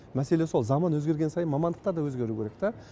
мәселе сол заман өзгерген сайын мамандықтар да өзгеру керек та